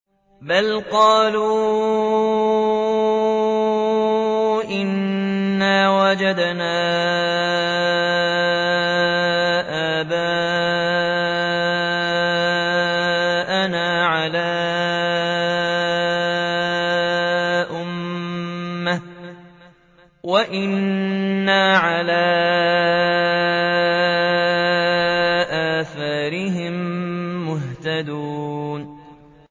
بَلْ قَالُوا إِنَّا وَجَدْنَا آبَاءَنَا عَلَىٰ أُمَّةٍ وَإِنَّا عَلَىٰ آثَارِهِم مُّهْتَدُونَ